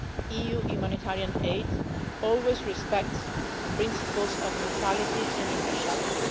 EU humanitarian aid always respects the principles of neutrality and impartiality.